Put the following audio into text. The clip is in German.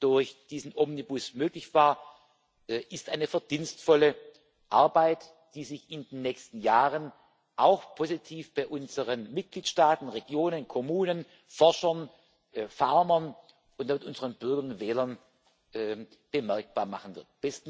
durch diesen Omnibus möglich war, ist eine verdienstvolle Arbeit, die sich in den nächsten Jahren auch positiv bei unseren Mitgliedstaaten, Regionen, Kommunen, Forschern, Farmern und unseren Bürgern und Wählern bemerkbar machen wird.